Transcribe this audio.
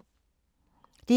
DR2